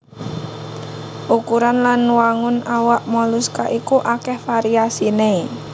Ukuran lan wangun awak moluska iku akèh variasiné